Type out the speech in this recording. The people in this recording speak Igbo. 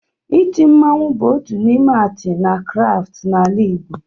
Iti mmanwụ bụ otu n' ime atị na kraftụ n'ala igbo